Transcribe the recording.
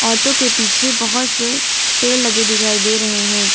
औरतो के पीछे बहोत से पेड़ लगे दिखाई दे रहे हैं।